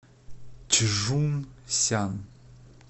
чжунсян